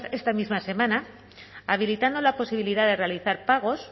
esta misma semana habilitando la posibilidad de realizar pagos